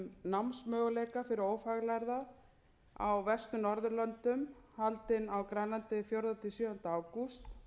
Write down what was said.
námsmöguleika fyrir ófaglærða á vestur norðurlöndum haldin á grænlandi fjórða til sjöunda ágúst